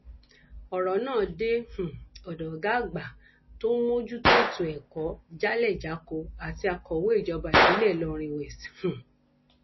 ọrọ náà dé um ọdọ ọgá àgbà tó ń mójútó ètò ẹkọ jálẹjákọ àti akọwé ìjọba ìbílẹ ìlọrin west um